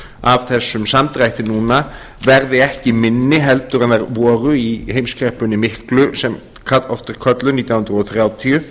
af þessum samdrætti verði ekki minni en þær voru í heimskreppunni miklu sem oft er kölluð nítján hundruð þrjátíu